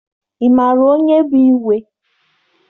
Ị maara onye bụ igwe?